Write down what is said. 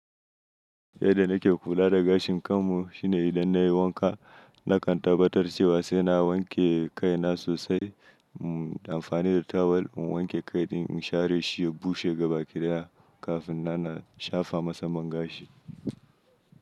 Yadda nake kula da gashin kanmu shine idan nayi wanka, nakan tabbatar cewa sai na wanke kai na sosai, mu amfani da tawul mu wanke kai ɗin, in share shi ya bushe gaba ɗaya kafin na na shafa masa man gashi.